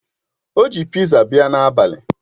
O ji piza bia n'abali